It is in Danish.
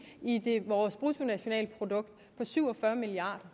i vores bruttonationalprodukt på syv og fyrre milliard